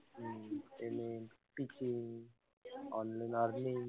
online